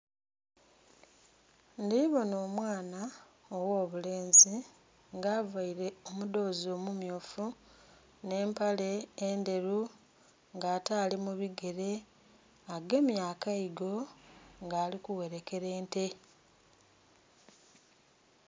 Ndhibona omwana ogh'obulenzi nga availe omudhozi omumyufu n'empale endheru ng'ate ali mu bigele agemye akaigo nga ali kughelekera ente